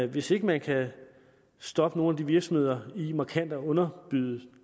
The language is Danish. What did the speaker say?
hvis ikke man kan stoppe nogle af de virksomheder i markant at underbyde